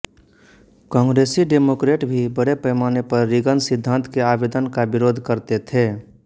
कांग्रेसी डेमोक्रेट भी बड़े पैमाने पर रीगन सिद्धांत के आवेदन का विरोध करते थे